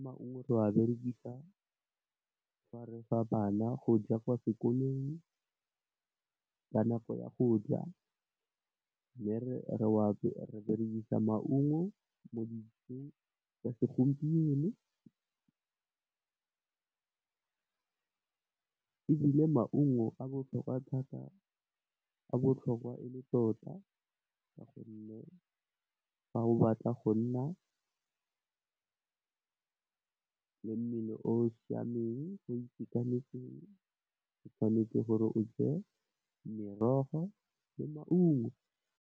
Maungo re wa berekisa fa refa bana go ja kwa sekolong ka nako ya go ja. Mme, re berekisa maungo mo dijong tsa segompieno ebile, maungo a botlhokwa thata, a botlhokwa e le tota, ka gonne, fa o batla go nna le mmele o o siameng o itekanetseng o tshwanetse gore o je merogo le maungo.